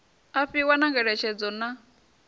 a fhiwa na ngeletshedzo na